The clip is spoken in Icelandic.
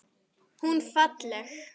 Hún falleg.